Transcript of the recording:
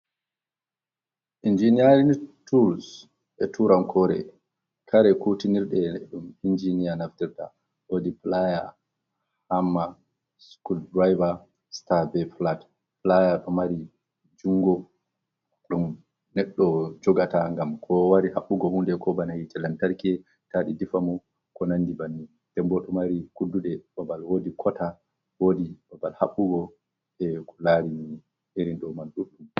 "Injiiniyaarin tuls" e tuurankoore kare kuutinirɗe ɗum "injiniya" naftirta, woodi "pilaaya, hamma, sukul driver, star. Ba "filat pilaaya" ɗo mari junngo ɗum neɗɗo jogata ngam ko wari haɓɓugo huunde ko bana hiite lantarki taa ɗe difa mo ko nandi banni nden bo ɗo mari kudduɗe babal woodi "kota" wodi babal haɓɓugo jey ko laarani irin domandudtu